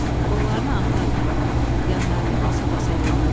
Qollarını ata-ata, yanlarını basa-basa yeriydi.